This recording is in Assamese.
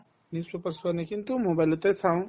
newspaper চোৱা নাই কিন্তু mobile তে চাওঁ